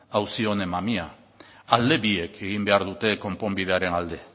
auzi honen mamia alde biek egin behar dute konponbidearen alde